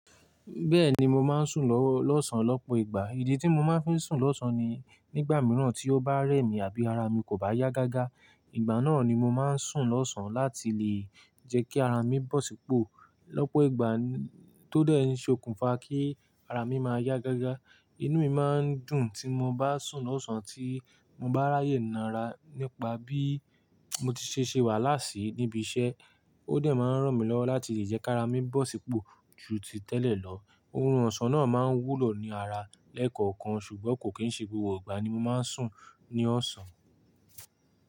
Bẹ́ẹ̀ni mo máa ń sùn lọ́-- lọ́sàn lọ́pọ̀ ìgbà. Ìdí tí mo máa ń fi sùn lọ́sàn ni nígbà mìíràn tí ó bá rẹ̀ mí àbí ara mi kò bá yá gágá, ìgbà náà ni mo máa ń sùn lọ́sàn láti lè jẹ́ kí ara mi bọ̀ sípò. Lọ́pọ̀ ìgbà tó dẹ́ ẹ ni ṣokùnfà kí ara mi máa yá gágá. Inú mi máa ń dùn tí mo bá sùn lọ́sàn tí mo bá ráyè náara nípa bí mo ti ṣe ṣe wàala sìí níbi iṣẹ́. Ó dẹ̀ máa ń ràn mí lọ́wọ́ láti lè jẹ́ kí ara mi bọ̀ sípò ju ti tẹ́lẹ̀ lọ. Orun ọ̀sán náà máa ń wúlò ní ara lẹ́ẹ̀kọ̀ọ̀kan ṣùgbọ́n kò kí ń ṣe gbogbo ìgbà ni mo máa ń sùn ní ọ̀sán.